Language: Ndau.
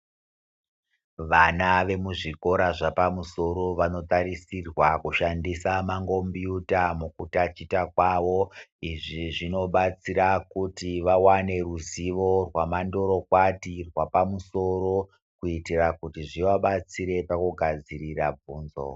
Vana vemuzvikora zvepamusoro vanotarisirwa kushandisa mangombiyuta mukutachita kwavo izvi zvinobatsira kuti vavane ruzivo rwamandorokwati rwapamusoro kuitira kuti zvivabatsire pakugadzirira bvunzo.